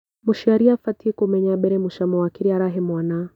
Mũciari abatiĩ kumenya mbere mũcamo wa kĩrĩa arahe mwana